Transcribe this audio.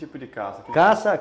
E tipo de caça? caça